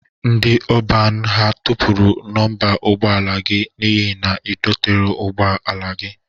Ndị ọban ha tọpụrụ nọmba ụgbọ ala gị n'ihe ebe idotere ụgbọ ala gị?